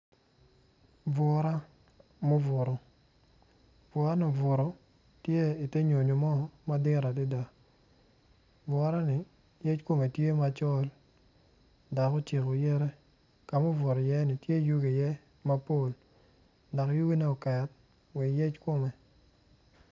Bura ma obuto, bura man obuto tye ka nyuto jo ma guruko ruk me myel nencalo gitye ka myelo myel me tekwaro pien ka ineno keny tye bul ma kitye ka goyone dok yugine oket wa i yec kome.